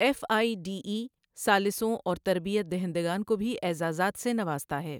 F I D E ثالثوں اور تربیت دہندگان کو بھی اعزازات سے نوازتا ہے۔